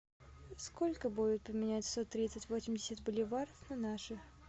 сколько будет поменять сто тридцать восемьдесят боливар на наши